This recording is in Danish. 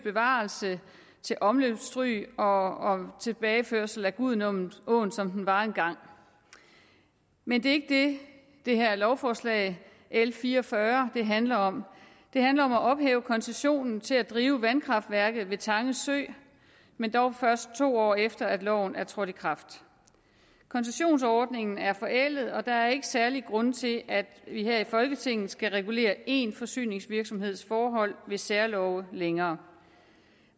bevarelse til omløbsstryg og tilbageførsel af gudenåen som den var engang men det er ikke det det her lovforslag l fire og fyrre handler om det handler om at ophæve koncessionen til at drive vandkraftværket ved tange sø men dog først to år efter at loven er trådt i kraft koncessionsordningen er forældet og der er ikke særlige grunde til at vi her i folketinget skal regulere én forsyningsvirksomheds forhold ved særlove længere